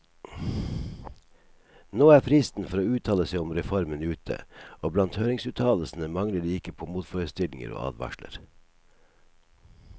Nå er fristen for å uttale seg om reformen ute, og blant høringsuttalelsene mangler det ikke på motforestillinger og advarsler.